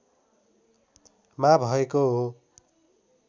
मा भएको हो